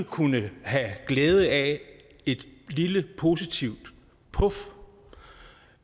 kunne have glæde af et lille positivt puf